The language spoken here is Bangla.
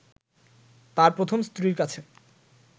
তার প্রথম স্ত্রীর কাছে